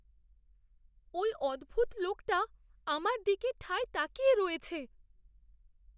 ওই অদ্ভুত লোকটা আমার দিকে ঠায় তাকিয়ে রয়েছে।